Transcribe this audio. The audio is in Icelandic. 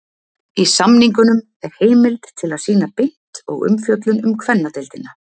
Í samningnum er heimild til að sýna beint og umfjöllun um kvennadeildina.